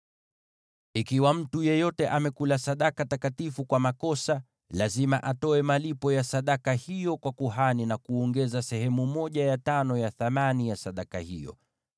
“ ‘Ikiwa mtu yeyote amekula sadaka takatifu kwa makosa, lazima atoe malipo ya sadaka hiyo kwa kuhani na kuongeza sehemu ya tano ya thamani ya sadaka hiyo.